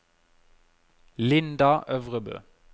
Linda Øvrebø